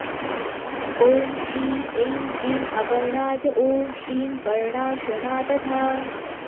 ॐ श्री ऐं क्लीं अपर्णा च ॐ श्रीं पर्णाशना तथा